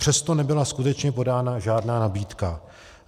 Přesto nebyla skutečně podána žádná nabídka.